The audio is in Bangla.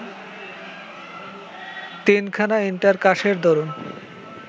তিনখানা ইন্টার কাসের দরুন